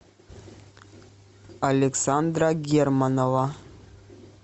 александра германова